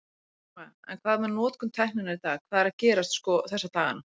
Telma: En hvað með notkun tækninnar í dag, hvað er að gerast sko þessa dagana?